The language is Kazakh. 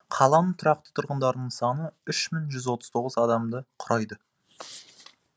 қаланың тұрақты тұрғындарының саны үш мың отыз тоғыз адамды құрайды